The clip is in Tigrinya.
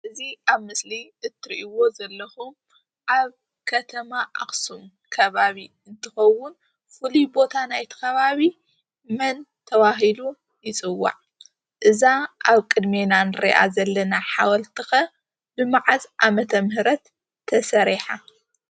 እዚ ኣብ ምስሊ እትሪዎ ዘለኹም ኣብ ከተማ ኣኽሱም ከባቢ እንትኸውን ፍሉይ ቦታ ናይቲ ኸባቢ መን ተባሂሉ ይፅዋዕ? እዛ ኣብ ቅድሜና ንሪኣ ዘለና ሓወልቲ ኸ ብመዓዝ ዓ.ም ተሰሪሓ?